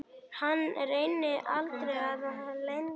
Hana rekur aldrei að landi.